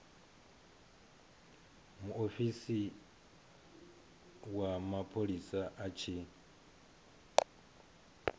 muofisi wa mapholisa a tshi